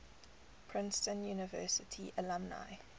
princeton university alumni